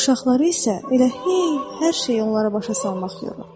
Uşaqları isə elə hey hər şeyi onlara başa salmaq yorulur.